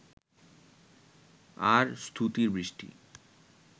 আর স্তুতির বৃষ্টি